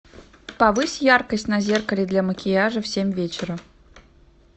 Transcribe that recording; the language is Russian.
повысь яркость на зеркале для макияжа в семь вечера